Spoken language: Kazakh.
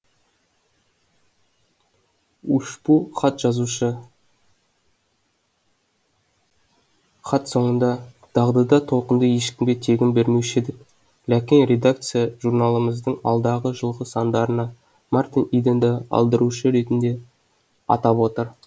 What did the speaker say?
үшпу хат жазушы хат соңында дағдыда толқынды ешкімге тегін бермеуші едік ләкин редакция журналымыздың алдағы жылғы сандарына мартин иденді алдырушы ретінде атап отыр